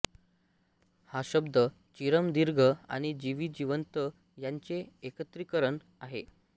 हा शब्द चिरम दीर्घ आणि जीवी जिवंत यांचे एकत्रिकरण आहे